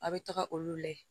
A' be taga olu layɛ